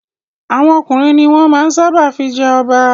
Àwọn ọkùnrin ni wọ́n máa ń sábà fi jẹ ọba.